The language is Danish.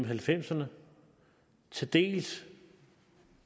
halvfemserne til dels